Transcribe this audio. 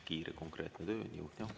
Kiire-konkreetne töö, niuh-näuh!